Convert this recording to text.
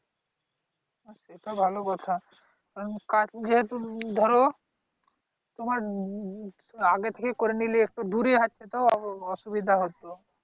ওটা ভালো কথা কারন কাজ যেহেতু ধর তোমার আগের থেকে করে নিলে একটু দূরে আছে তো অ অ অসুবিধা হত।